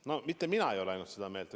Mitte ainult mina ei ole seda meelt.